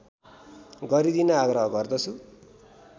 गरिदिन आग्रह गर्दछु